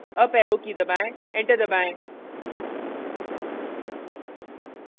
up arrow की दबाएं enter दबाएं